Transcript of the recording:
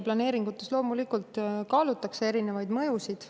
Planeeringute tegemisel kaalutakse loomulikult erinevaid mõjusid.